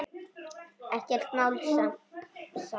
Ekkert mál sem sagt.